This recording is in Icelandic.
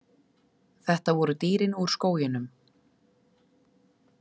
Þetta voru dýrin úr skóginum.